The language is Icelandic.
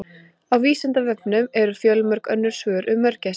Á Vísindavefnum eru fjölmörg önnur svör um mörgæsir.